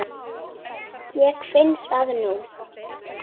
Ég finn það núna.